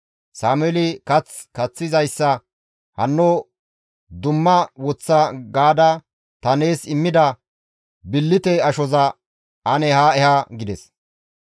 Sameeli kath kaththizayssa, «Hayssa dumma woththa gaada ta nees immida billite ashoza ane haa eha» gides.